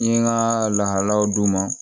N ye n ka lahalayaw d'u ma